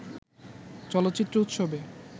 চলচ্চিত্র উৎসবে